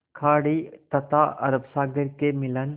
खाड़ी तथा अरब सागर के मिलन